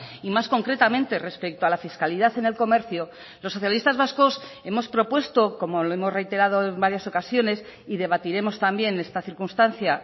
y más concretamente respecto a la fiscalidad en el comercio los socialistas vascos hemos propuesto como lo hemos reiterado en varias ocasiones y debatiremos también esta circunstancia